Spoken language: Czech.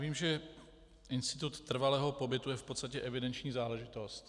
Vím, že institut trvalého pobytu je v podstatě evidenční záležitost.